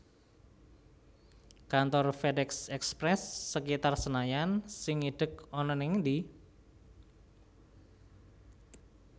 Kantor FedEx Express sekitar Senayan sing idhek ana ning endi?